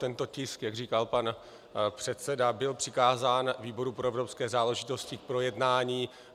Tento tisk, jak říkal pan předseda, byl přikázán výboru pro evropské záležitosti k projednání.